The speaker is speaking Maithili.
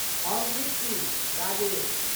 हम नीक छी, राजेश।